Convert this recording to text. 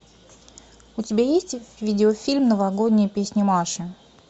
у тебя есть видеофильм новогодняя песня маши